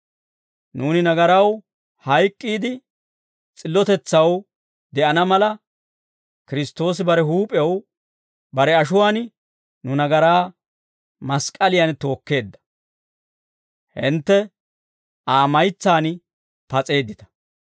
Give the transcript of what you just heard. Nuuni nagaraw hayk'k'iide, s'illotetsaw de'ana mala, Kiristtoosi bare huup'ew bare ashuwaan nu nagaraa mask'k'aliyan tookkeedda; hintte Aa maytsaan pas'eeddita.